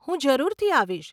હું જરૂરથી આવીશ.